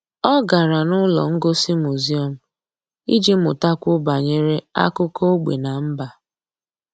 Ọ́ gárá n’ụ́lọ́ ngosi muziọ́m iji mụ́takwuo banyere ákụ́kọ́ ógbè na mba.